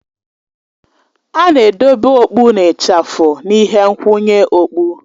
A na-edobe okpụ na ịchafụ na ihe nkwụnye okpụ